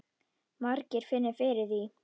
Margir finni fyrir því.